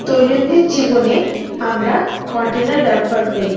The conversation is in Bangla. দৈনন্দিন জীবনে আমরা কন্টেনার ব্যবহার করি।